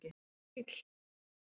Bara eins og bíll.